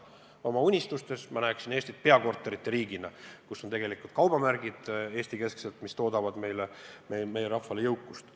Oma unistustes ma näen Eestit peakorterite riigina, kus kaubamärgid on Eesti-kesksed ja toodavad meie rahvale jõukust.